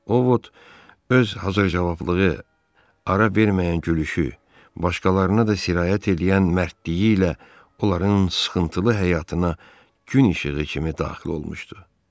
Ovod öz hazırcavablığı, ara verməyən gülüşü, başqalarına da sirayət eləyən mərdliyi ilə onların sıxıntılı həyatına gün işığı kimi daxil olmuşdu.